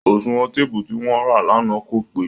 oṣùwọn téèpù tí wọ́n rà lánàá kò pé